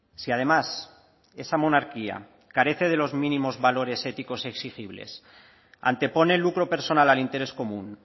si además esa monarquía carece de los mínimos valores éticos exigibles antepone el lucro personal al interés común